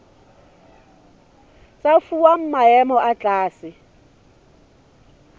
tsa fuwa maemo a tlase